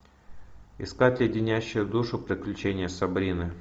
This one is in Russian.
искать леденящие душу приключения сабрины